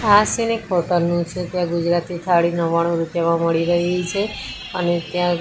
આ સીન એક હોટલ નું છે ત્યાં ગુજરાતી થાળી નવ્વાણું રૂપિયામાં મળી રહી છે અને ત્યાં--